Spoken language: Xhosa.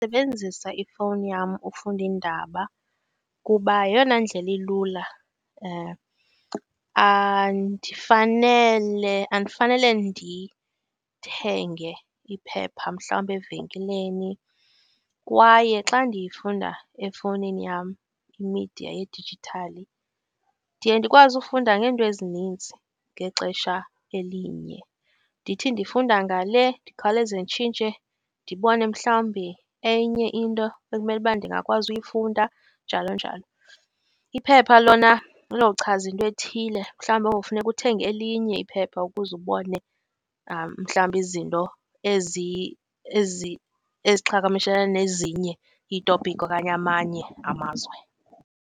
sebenzisa ifowuni yam ufunda iindaba kuba yeyona ndlela ilula andifanele ndithenge iphepha mhlawumbe evekini, kwaye xa ndiyifunda efowunini yam imidiya yedijithali ndiye ndikwazi ufunda ngeento ezininzi ngexesha elinye. Ndithi ndifunda ngale ndikhawuleze nditshintshe ndibone mhlawumbi enye into ekumeluba ndingakwazi uyifunda, njalo njalo. Iphepha lona, lochaza into ethile, mhalwumbi kuyowufuneka uthenge elinye iphepha ukuze ubone mhlawumbi izinto eziqhagamshele nezinye iitopkhi okanye amanye amazwe.